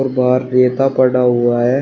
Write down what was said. बाहर रेता पड़ा हुआ है।